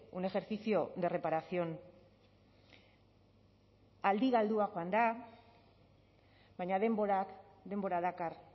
un ejercicio de reparación aldi galdua joan da baina denborak denbora dakar